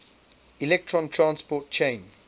electron transport chain